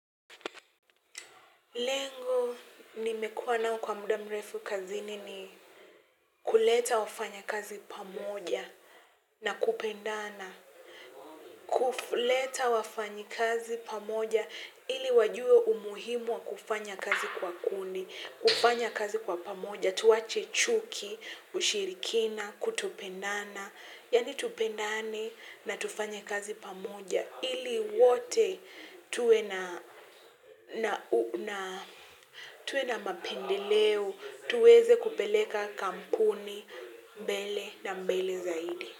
Lengo nimekuwa nao kwa muda mrefu kazini ni kuleta wafanya kazi pamoja na kupendana. Kufleta wafanyikazi pamoja ili wajue umuhimu wa kufanya kazi kwa kundi, kufanya kazi kwa pamoja, tuwache chuki, ushirikina, kutopendana. Yaani tupendane na tufanye kazi pamoja ili wote tuwe na tuwe na mapendeleo tuweze kupeleka kampuni mbele na mbele zaidi.